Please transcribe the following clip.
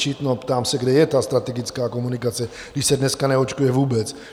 No, ptám se, kde je ta strategická komunikace, když se dneska neočkuje vůbec?